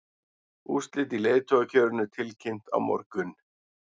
Úrslit í leiðtogakjörinu tilkynnt á morgun